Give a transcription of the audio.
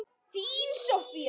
Þín Soffía.